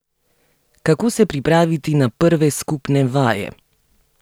Kako se pripraviti na prve skupne vaje?